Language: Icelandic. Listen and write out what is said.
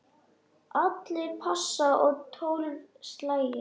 Allir pass og tólf slagir.